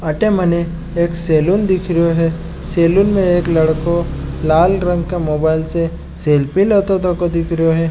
अठे मने एक सैलून दिख रेयो है सैलून में एक लड़को लाल रंग के मोबाइल से सेल्फी लेतो तको दिख रेयो है।